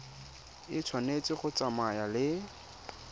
e tshwanetse go tsamaya le